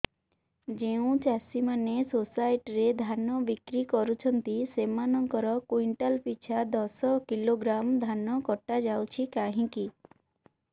ଯେଉଁ ଚାଷୀ ମାନେ ସୋସାଇଟି ରେ ଧାନ ବିକ୍ରି କରୁଛନ୍ତି ସେମାନଙ୍କର କୁଇଣ୍ଟାଲ ପିଛା ଦଶ କିଲୋଗ୍ରାମ ଧାନ କଟା ଯାଉଛି କାହିଁକି